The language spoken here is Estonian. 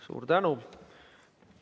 Suur tänu!